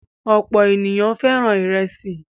Ọ̀pọ̀ ènìyàn fẹ́ràn ìrẹsì.